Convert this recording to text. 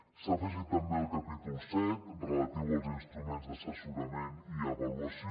s’ha afegit també el capítol set relatiu als instruments d’assessorament i avaluació